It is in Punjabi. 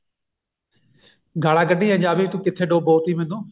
ਗਾਲਾਂ ਕੱਢੀਆਂ ਜਾ ਵੀ ਕਿੱਥੋਂ ਡਬੋਤੀ